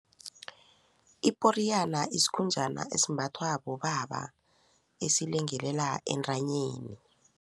Iporiyana isikhunjana esimbathwa bobaba esilengelela entanyeni.